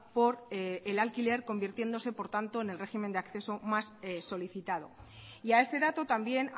por el alquiler convirtiéndose por tanto en el régimen de acceso más solicitado y a este dato también